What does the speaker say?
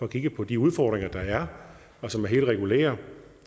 kigget på de udfordringer der er og som er helt regulære